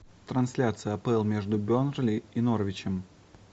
трансляция апл между бернли и норвичем